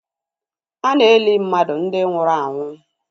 Ana eli mmadụ ndi nwụrụ anwụ